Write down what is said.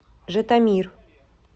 житомир